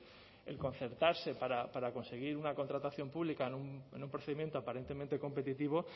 el concertarse para conseguir una contratación pública en un procedimiento aparentemente competitivo